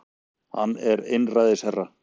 Hann er einræðisherra